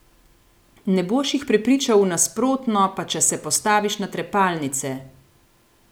Ne boš jih prepričal v nasprotno pa če se postaviš na trepalnice!